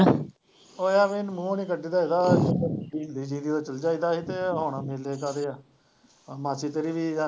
ਉਹ ਐਵੇਂ ਮੂੰਹ ਨੀ ਹੁੰਦੀ ਸੀਗੀ ਉਦੋਂ ਚੱਲ ਜਾਈਦਾ ਸੀ ਤੇ ਹੁਣ ਮੇਲਾ ਕਾਹਦੇ ਆ ਮਾਸੀ ਤੇਰੀ ਵੀ ਦਾ